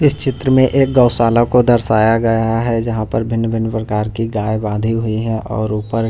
इस चित्र में एक गौशाला को दर्शाया गया है जहां पर भिन्न-भिन्न प्रकार की गाय बांधी हुई हैं और ऊपर--